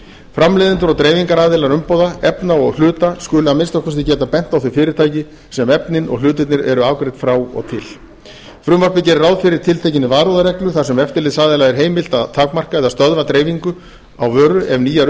framleiðendur og dreifingaraðilar umbúða efna og hluta skulu að minnsta kosti geta bent á þau fyrirtæki sem efnin og hlutirnir eru afgreidd frá og til frumvarpið gerir ráð fyrir tiltekinni varúðarreglu þar sem eftirlitsaðila er heimilt að takmarka eða stöðva dreifingu á vöru ef nýjar